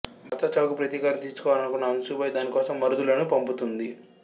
భర్త చావుకు ప్రతీకారం తీర్చుకోవాలనుకున్న అంశుబాయి దానికోసం మరుదులను పంపుతుంది